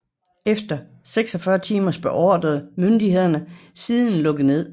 Efter 46 timer beordrede myndighederne siden lukket ned